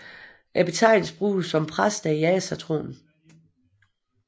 Betegnelsen bruges om præster i asatroen